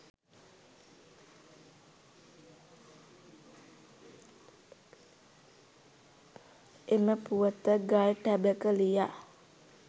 එම පුවත ගල් ටැඹක ලියා